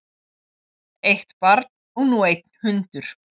Eitt barn og nú einn hundur